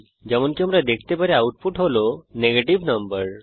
যেমনকি আমরা দেখতে পারি আউটপুট হল নেগেটিভ নাম্বার